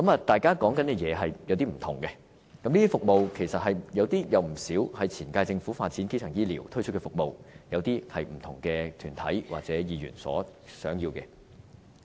大家提出的服務有少許分別，當中有不少是前屆政府發展基層醫療而推出的服務，有些則是不同團體或議員所希望的。